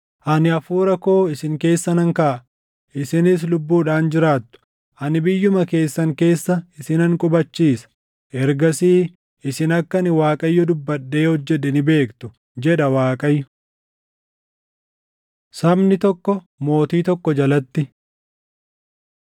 Ani Hafuura koo isin keessa nan kaaʼa; isinis lubbuudhaan jiraattu; ani biyyuma keessan keessa isinan qubachiisa. Ergasii isin akka ani Waaqayyo dubbadhee hojjedhe ni beektu, jedha Waaqayyo.’ ” Sabni Tokko Mootii Tokko Jalatti